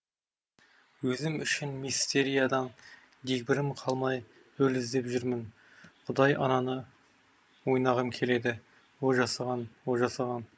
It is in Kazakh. өзім үшін мистериядан дегбірім қалмай рөл іздеп жүрмін құдай ананы ойнағым келеді о жасаған о жасаған